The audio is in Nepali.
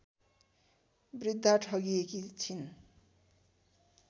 वृद्धा ठगिएकी छिन्